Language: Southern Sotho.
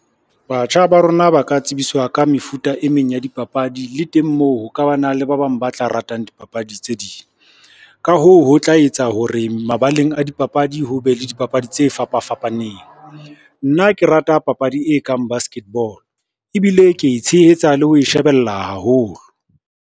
Batjha ba rona ba ka tsebiswa ka mefuta e meng ya dipapadi le teng, moo ho ka ba na le ba bang ba tla ratang dipapadi tse ding. Ka hoo, ho tla etsa hore mabaleng a dipapadi, ho be le dipapadi tse fapa fapaneng. Nna ke rata papadi e kang basketball ebile ke e tshehetsa le ho e shebella haholo.